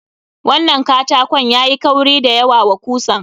Wannan katakon yayi kauri da yawa wa kusan.